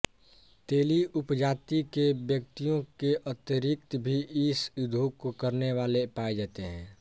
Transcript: तेली उपजाति के व्यक्तियों के अतिरिक्त भी इस उद्योग को करनेवाले पाए जाते हैं